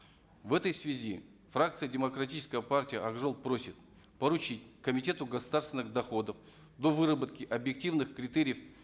в этой связи фракция демократической партии ак жол просит поручить комитету государственных доходов до выработки объективных критериев